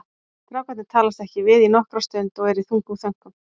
Strákarnir talast ekki við í nokkra stund og eru í þungum þönkum.